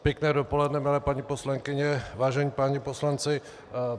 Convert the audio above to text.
Pěkné dopoledne, milé paní poslankyně, vážení páni poslanci.